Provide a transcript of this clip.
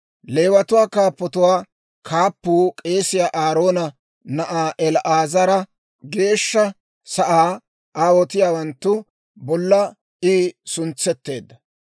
Leewatuwaa kaappatuwaa kaappuu k'eesiyaa Aaroona na'aa El"aazara; Geeshsha Sa'aa aawotiyaawanttu bolla I suntsetteedda.